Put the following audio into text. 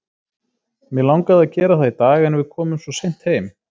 Mig langaði að gera það í dag en við komum svo seint heim.